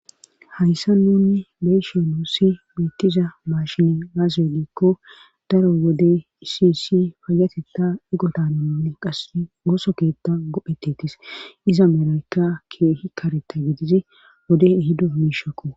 hayssa nunni beyshe nuussi beettiza maashine gaasie giikko daro wode iisiisi fayateta igotananne qass gooso keetta gophetetis iza merayyka keehi kareta gidizi wode hido miishakko